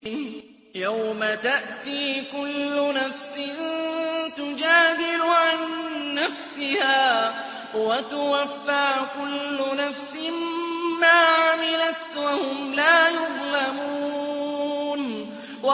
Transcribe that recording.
۞ يَوْمَ تَأْتِي كُلُّ نَفْسٍ تُجَادِلُ عَن نَّفْسِهَا وَتُوَفَّىٰ كُلُّ نَفْسٍ مَّا عَمِلَتْ وَهُمْ لَا يُظْلَمُونَ